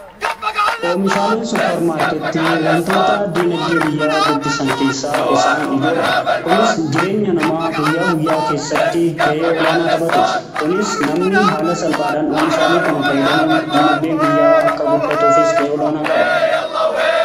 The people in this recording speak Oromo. oomishaaleen supparmaarketti wantoota diinagdee biyyaa guddisan keessaa isaan ijoodha. kunis jireenya namaa guyyaa guyyaa keessatti ga'ee olaanaa taphatu. kunis namni haala salphaadhaan oomishaalee kana fayyidamuun diinagdeen biyyaa akka guddatuufis ga'ee olaanaa qaba.